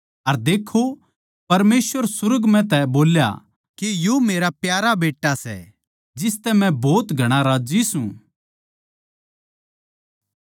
अर देक्खो परमेसवर सुर्ग म्ह तै बोल्या कै यो मेरा प्यारा बेट्टा सै जिसतै मै भोत घणा राज्जी सूं